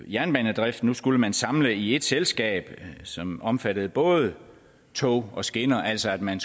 jernbanedriften nu skulle man samle den i ét selskab som omfattede både tog og skinner altså at man